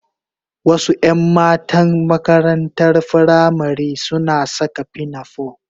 Wasu 'yan matan makarantar firamari suna saka pinafore